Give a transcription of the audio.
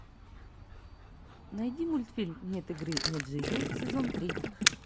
найди мультфильм нет игры нет жизни сезон три